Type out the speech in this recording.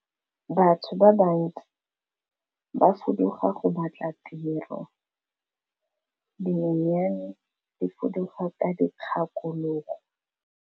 Batho ba bantsi ba fuduga go batla tiro, dinonyane di fuduga ka dikgakologo.